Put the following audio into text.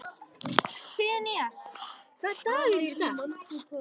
Sigurnýjas, hvaða dagur er í dag?